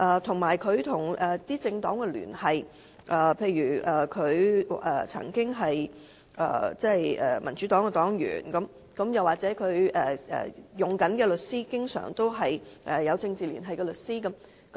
他與政黨的聯繫也成疑，例如他曾經是民主黨黨員，他聘用的律師經常是有政治聯繫的律師。